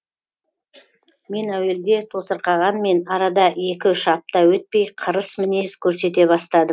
мен әуелде тосырқағанмен арада екі үш апта өтпей қырыс мінез көрсете бастадым